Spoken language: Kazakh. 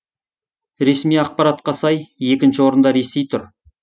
ресми ақпаратқа сай екінші орында ресей тұр